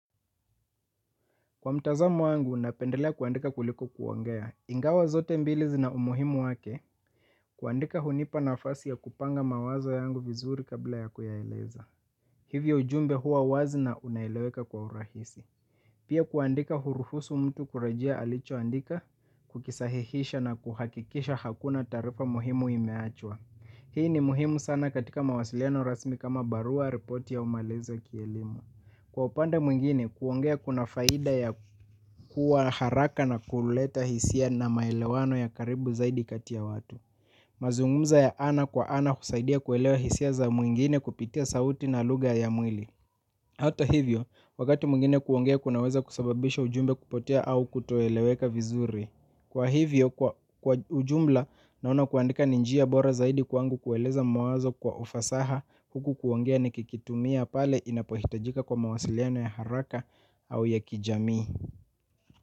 Kwa mtazamo wangu, napendelea kuandika kuliko kuongea. Ingawa zote mbili zina umuhimu wake, kuandika hunipa nafasi ya kupanga mawazo yangu vizuri kabla ya kuyaeleza. Hivyo ujumbe huwa wazi na unaeleweka kwa urahisi. Pia kuandika huruhusu mtu kurejea alichoandika, kukisahihisha na kuhakikisha hakuna taarifa muhimu imeachwa. Hii ni muhimu sana katika mawasiliano rasmi kama barua ripoti au maelezo kielimu. Kwa upande mwingine, kuongea kuna faida ya kuwa haraka na kuleta hisia na maelewano ya karibu zaidi katia watu. Mazungumza ya ana kwa ana husaidia kuelewa hisia za mwingine kupitia sauti na lugha ya mwili. Hata hivyo, wakati mwingine kuongea kunaweza kusababisha ujumbe kupotea au kutoeleweka vizuri. Kwa hivyo, kwa ujumla, naona kuandika ni njia bora zaidi kwangu kueleza mawazo kwa ufasaha huku kuongea nikikitumia pale inapohitajika kwa mawasiliano ya haraka au ya kijamii.